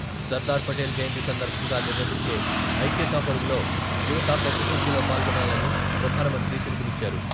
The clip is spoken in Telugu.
సర్దార్ పటేల్ జయంతి సందర్భంగా నిర్వహించే ఐక్యతా పరుగులో యువత పెద్దసంఖ్యలో పాల్గొనాలని ప్రధానమంత్రి పిలుపునిచ్చారు.